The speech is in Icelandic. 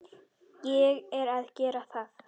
Ég er að gera það.